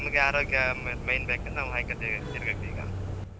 ನಮ್ಗೆ ಆರೋಗ್ಯ main ಬೇಕಂದ್ರೆ ಹಾಯ್ಕಂಡ್ ತಿರ್ಗ ತಿರ್ಗತ್ತ್ಈಗ.